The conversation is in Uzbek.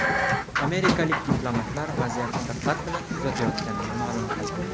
Amerikalik diplomatlar vaziyatni diqqat bilan kuzatayotganini ma’lum qildi.